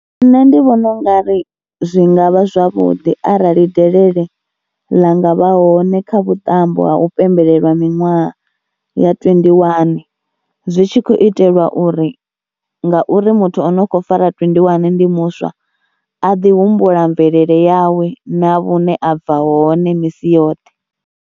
Nṋe ndi vhona u nga ri zwi nga vha zwavhuḓi arali delele ḽa nga vha hone kha vhuṱambo ha u pembelela miṅwaha ya twendi wani, zwi tshi khou itelwa uri ngauri muthu o no khou fara twendi wani ndi muswa a ḓi humbula mvelele yawe na hune a bva hone misi yoṱhe.